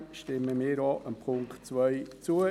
Insofern stimmen wir auch dem Punkt 2 zu.